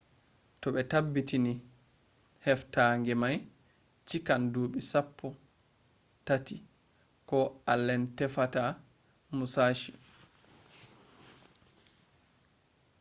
to be tabbutini heftange mai chikan dubi sappoi tati ko allen tefata musashi